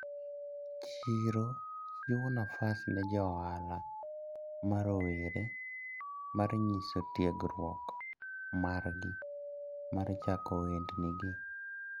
Chiro chiwo nafas ne jo ohala marowere mar nyiso tiegruok margi mar chako ohendnigi.